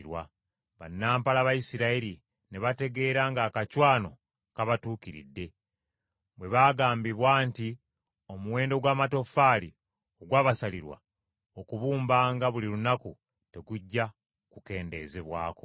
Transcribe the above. Bannampala Abayisirayiri ne bategeera ng’akacwano kabatuukiridde, bwe baagambibwa nti, “Omuwendo gw’amatoffaali ogwabasalirwa okubumbanga buli lunaku tegujja kukendeezebwako.”